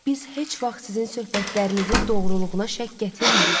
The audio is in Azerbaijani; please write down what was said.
Biz heç vaxt sizin söhbətlərinizin doğruluğuna şəkk gətirmirik.